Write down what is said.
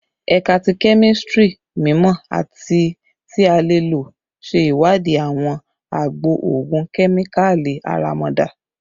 Ẹka ti Kemistri mimọ ati ti a lo le ṣe iwadii awọn agbo ogun kemikali aramada